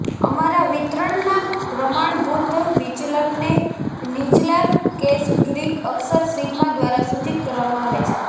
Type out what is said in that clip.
અમારા વિતરણના પ્રમાણભૂત વિચલનને નીચલા કેસ ગ્રીક અક્ષર સિગ્મા દ્વારા સૂચિત કરવામાં આવે છે